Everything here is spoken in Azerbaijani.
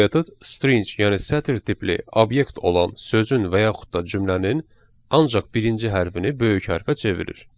Bu metod string, yəni sətr tipli obyekt olan sözün və yaxud da cümlənin ancaq birinci hərfini böyük hərfə çevirir.